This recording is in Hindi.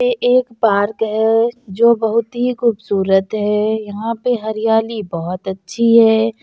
ये एक पार्क है जो बहुत ही खूबसूरत है। यहाँ पे हरियाली बहुत अच्छी है।